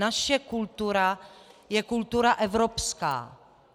Naše kultura je kultura evropská.